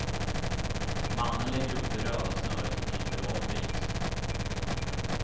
Mannen lägger upp det röda snöret och klipper av en bit.